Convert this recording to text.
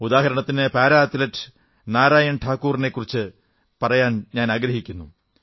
ഉദാഹരണത്തിന് para athlete Narayan ഠാക്കൂറിനെക്കുറിച്ചു പറയാനാഗ്രഹിക്കുന്നു